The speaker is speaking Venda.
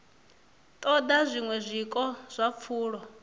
ṱoḓa zwiṅwe zwiko zwa pfulo